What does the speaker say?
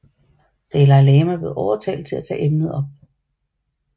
Dalai Lama blev overtalt til at tage emnet op